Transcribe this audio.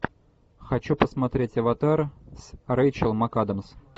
хочу посмотреть аватар с рейчел макадамс